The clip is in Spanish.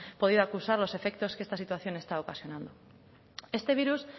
podido acusar los efectos que esta situación ha estado ocasionando este virus